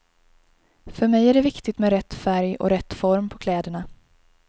För mig är det viktigt med rätt färg och rätt form på kläderna.